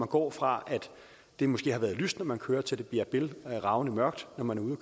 går fra at det måske har været lyst når man kører til det bliver bælgravende mørkt at man